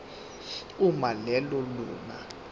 uma lelo lunga